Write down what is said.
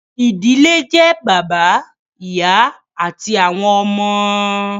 ìdílé jẹ́ bàbá, ìyá àti àwọn ọmọ